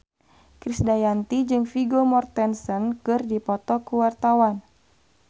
Krisdayanti jeung Vigo Mortensen keur dipoto ku wartawan